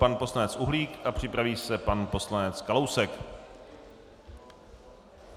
Pan poslanec Uhlík a připraví se pan poslanec Kalousek.